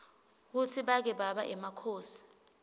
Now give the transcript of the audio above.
kutsi bake baba emakhosi